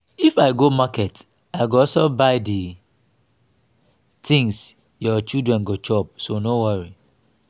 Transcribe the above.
if i go market i go also buy the things your children go chop so no worry